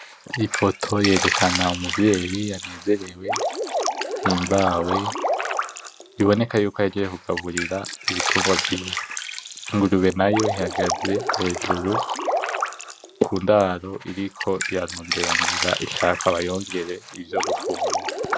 Ifoto yerekana umvyeyi anezerewe ahimbawe, biboneka yuko ahejeje kukagurira ibitungwa vyiwe. Ingurube nayo ihagaze hejuru ku ndaro iriko ishaka bayongere ivyo gufungura.